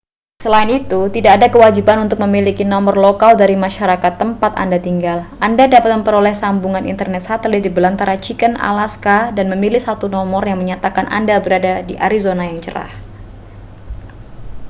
selain itu tidak ada kewajiban untuk memiliki nomor lokal dari masyarakat tempat anda tinggal anda dapat memperoleh sambungan internet satelit di belantara chicken alaska dan memilih satu nomor yang menyatakan anda berada di arizona yang cerah